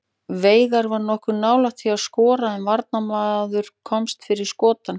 Veigar var nokkuð nálægt því að skora en varnarmaður komst fyrir skot hans.